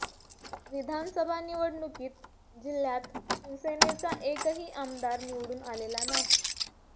विधानसभा निवडणुकीत जिल्ह्यात शिवसेनेचा एकही आमदार निवडून आलेला नाही